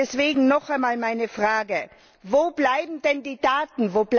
Deswegen noch einmal meine Frage Wo bleiben denn die Daten?